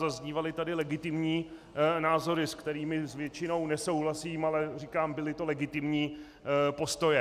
Zaznívaly tady legitimní názory, s kterými z většiny nesouhlasím, ale říkám, byly to legitimní postoje.